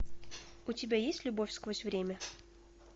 у тебя есть любовь сквозь время